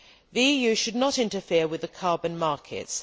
The EU should not interfere with the carbon markets.